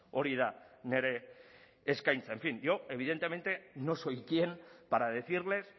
hori da nire eskaintza en fin yo evidentemente no soy quien para decirles